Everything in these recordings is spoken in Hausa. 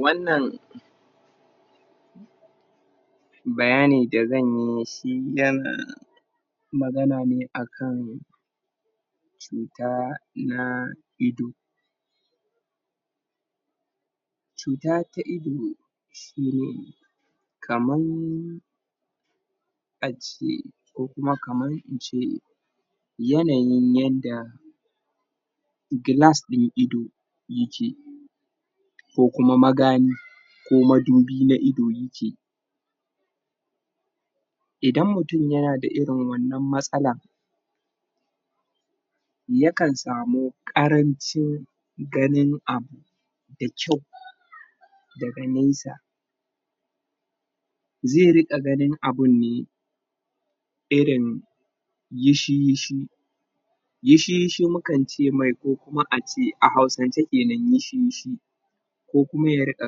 Wannan Bayanin dazanyi shi wannan Magana ne akan Cuta na ido Cuta ta ido kaman Ace Ko kuma kaman ince Yanayin yadda Glass na ido Yake Ko kuma magani Ko madubi na ido yake Idan mutum yanda irin wannan matsala Yakan samu karancin Ganin abu, Da kwau Daga nesa Zai rika ganin abunne Irin Yishi yishi Yishi yishi mukan ce mai ko kuma ace a hausance kenan yishi yishi Ko kuma ya rinka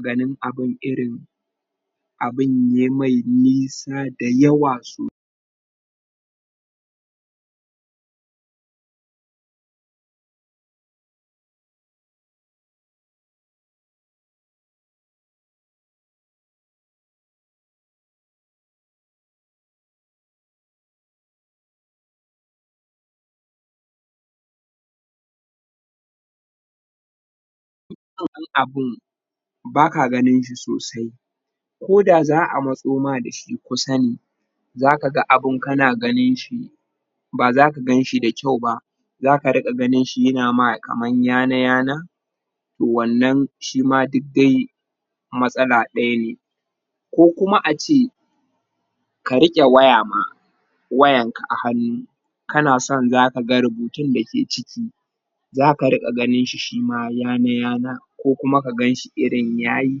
ganin abun irin Abun yamai nisa dayawa so Baka ganinshi sosai Koda za'a motso ma dashi kuma ne Zaka ga abun kana ganinshi Ba zaka ganshi da kwau ba Zaka rika ganinshi yana ma kaman yana yana Wannan shima duk dai Matsala daya ne Ko kuma ace Ka rike waya ma Wayan ka a hannu Kana son zaka ga rubutun dake ciki Zaka rinka ganinshi shima yana yana Ko kuma kaganshi irin yayi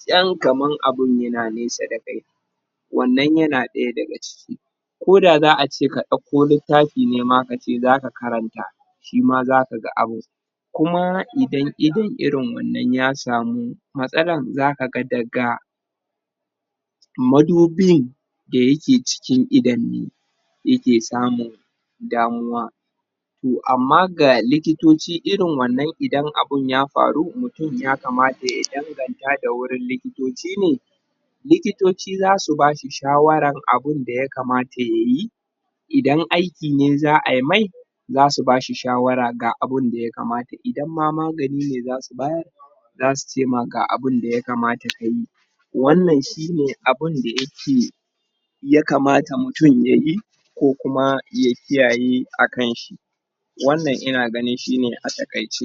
Tsawo kaman abun yana nesa dakai Wannan yana daya daga ciki Koda za'ace ka dakko littafi ne ma kace zaka karanta Shima zaka ga abun Kuma idan idan irin wannan ya samu matsalar zaka ga daga Dayake cikin idon ne Yake samun Damuwa to amma ga likitoci irin wannan idan abun ya faru! mutum ya kamata ya danganta da wurin likitoci Likitoci zasu bashi shawarar abunda ya kamta yayi Idan aiki ne za'ai mai Zasu bashi shawara ga abunda ya kamata idan ma magani ne zasu bayar Zasu cema ga abunda ya kamata kayi Wannan shine abunda yake ya kamata mutum yayi Ko kuma ya kiyaye akan shi Wannan ina ganin shine a taƙaice.